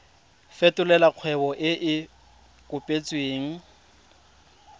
fetolela kgwebo e e kopetswengcc